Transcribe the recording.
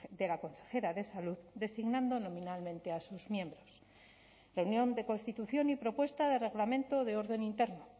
de la consejera de salud designando nominalmente a sus miembros reunión de constitución y propuesta de reglamento de orden interno